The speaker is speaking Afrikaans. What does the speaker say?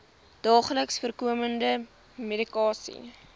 daagliks voorkomende medikasie